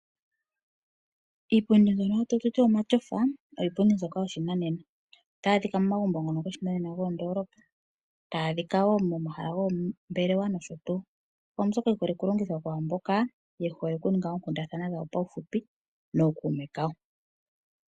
Iipundi mbyono tatu ti omatyofa oyo iipundi yoshinanena. Otayi adhika momagumbo ngono goshinanena gomoondoolopa. Tayi adhika wo momahala goombelewa nosho tuu. Oyo mbyoka yi holike okulongithwa kwaa mboka ye hole okuninga oonkundathana dhawo paufupi nookume kawo.